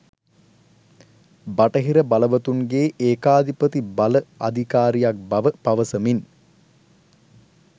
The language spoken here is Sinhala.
බටහිර බලවතුන්ගේ ඒකාධිපති බල අධිකාරියක් බව පවසමින්